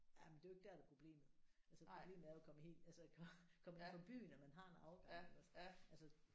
Jamen det er jo ikke der der er problemet altså problemet er jo at komme helt altså komme ind fra byen at man har en afgang iggås altså